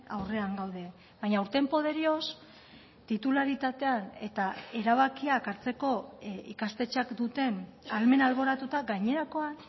aurrean gaude baina urteen poderioz titularitatean eta erabakiak hartzeko ikastetxeak duten ahalmen alboratuta gainerakoan